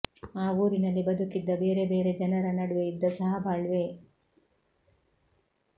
ಆ ಊರಿನಲ್ಲಿ ಬದುಕಿದ್ದ ಬೇರೆ ಬೇರೆ ಜನರ ನಡುವೆ ಇದ್ದ ಸಹಬಾಳ್ವೆ